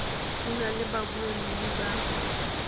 di na le babuelli ba